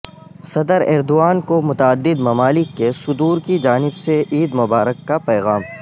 صدر ایردوان کو متعدد ممالک کے صدورکی جانب سے عید مبارک کا پیغام